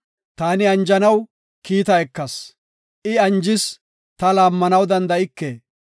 Taani anjanaw kiita ekas; I anjis; ta laammanaw danda7ike.